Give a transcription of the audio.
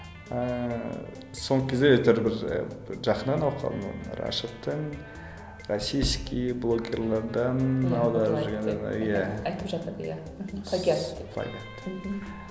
ыыы соңғы кезде әйтеуір бір і бір жақыннан оқыдым оны рашидтің российский блогерлерден аударып жүргендерін айтфп жатады ия плагиат деп плагиат деп